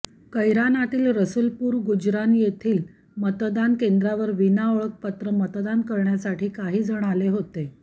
कैरानातील रसूलपूर गुजरान येथील मतदान केंद्रावर विना ओळखपत्र मतदान करण्यासाठी काही जण आले होते